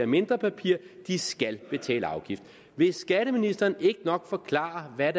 mindre papir skal betale afgift vil skatteministeren ikke nok forklare hvad